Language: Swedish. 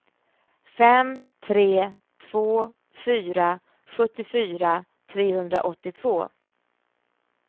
fem tre två fyra sjuttiofyra trehundraåttiotvå